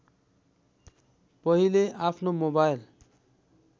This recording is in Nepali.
पहिले आफ्नो मोबाइल